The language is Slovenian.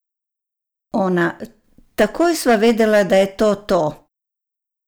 Ona: "Takoj sva vedela, da je to to.